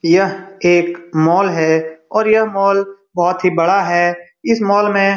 यह एक मॉल है और यह मॉल बोहोत ही बड़ा है इस मॉल में --